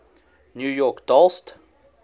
new york dollst